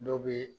Dɔ bɛ